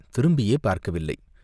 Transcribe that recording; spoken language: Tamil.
திரும்பியே பார்க்கவில்லை.